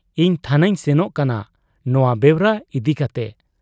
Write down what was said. ᱤᱧ ᱛᱷᱟᱱᱟᱹᱧ ᱥᱮᱱᱚᱜ ᱠᱟᱱᱟ ᱱᱚᱶᱟ ᱵᱮᱣᱨᱟ ᱤᱫᱤ ᱠᱟᱴᱮ ᱾